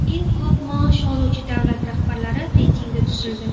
Eng ko‘p maosh oluvchi davlat rahbarlari reytingi tuzildi.